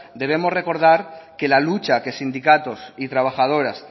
debemos recordar que la lucha que sindicatos y trabajadoras